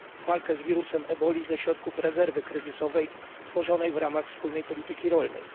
walkę z wirusem Ebola ze środków rezerwy kryzysowej tworzonej w ramach wspólnej polityki rolnej.